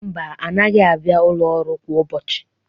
Mba, anaghị abịa ụlọ ọrụ a kwa ụbọchị.